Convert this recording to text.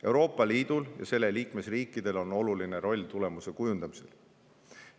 Euroopa Liidul ja selle liikmesriikidel on oluline roll tulemuse kujundamisel.